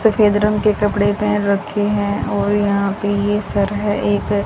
सफेद रंग के कपड़े पहन रखे हैं और यहां पे ये सर है एक--